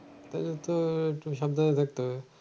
তাহলে তো একটু সাবধানে থাকতে হবে।